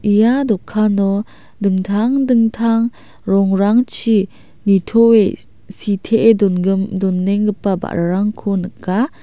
ia dokano dingtang dingtang rongrangchi nitoe sitee dongim-donenggipa ba·rarangko nika.